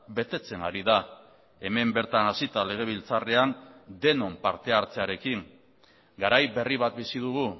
betetzen ari da hemen bertan hasita legebiltzarrean denon partehartzearekin garai berri bat bizi dugu